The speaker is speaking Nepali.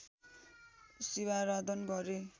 शिवाराधन गरे